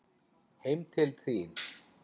Heim til þín.